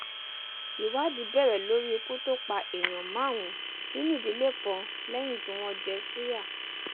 ìwádìí bẹrẹ lórí ikú tó pa èèyàn márùnún nínú ìdílé kan lẹyìn tí wọn jẹ ṣùyà